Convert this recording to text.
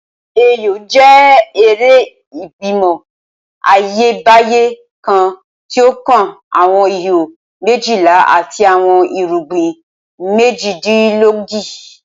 Ayo jẹ ere igbimọ Ayebaye kan ti o kan awọn iho mejila ati awọn irugbin mejidinlogoji.